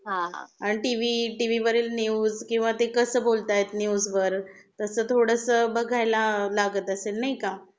आणि TV TV वरील news किंवा ते कसं बोलतायत न्यूज वरतसं थोडंस बघायला लागत असेल नाही का?